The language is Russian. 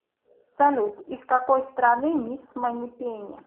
салют из какой страны мисс манипени